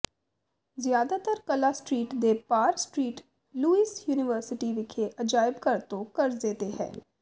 ਜ਼ਿਆਦਾਤਰ ਕਲਾ ਸਟ੍ਰੀਟ ਦੇ ਪਾਰ ਸਟ੍ਰੀਟ ਲੁਈਸ ਯੂਨੀਵਰਸਿਟੀ ਵਿਖੇ ਅਜਾਇਬ ਘਰ ਤੋਂ ਕਰਜ਼ੇ ਤੇ ਹੈ